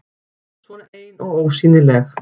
Svona ein og ósýnileg.